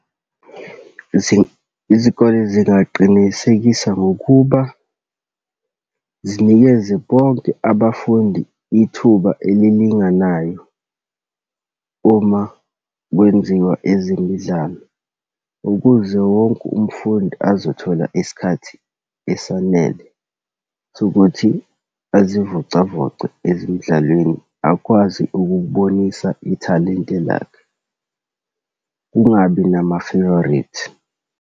Izikole zingaqinisekisa ngokuba zinikeze bonke abafundi ithuba elilinganayo uma kwenziwa ezemidlalo, ukuze wonke umfundi azothola isikhathi esanele sokuthi azivocavoce ezimdlalweni, akwazi ukukubonisa ithalente lakhe. Kungabi nama-favourite.